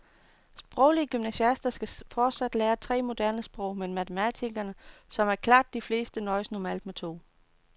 Sproglige gymnasiaster skal fortsat lære tre moderne sprog, men matematikerne, som er klart de fleste, nøjes normalt med to.